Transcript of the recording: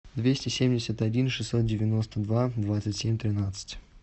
двести семьдесят один шестьсот девяносто два двадцать семь тринадцать